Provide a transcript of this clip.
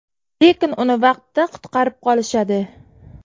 Lekin uni vaqtida qutqarib qolishadi.